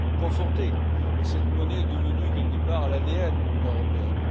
conforter cette monnaie devenue, quelque part, l'ADN de l'Union européenne.